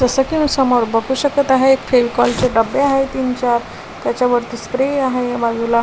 जस की समोर बघू शकत आहे फेवीकॉलचे डबे आहे तीन चार त्याच्यावरती स्प्रे आहे बाजूला --